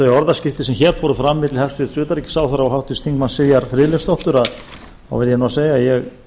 orðaskiptin sem fram fóru milli hæstvirts utanríkisráðherra og háttvirts þingmanns sivjar friðleifsdóttur verð ég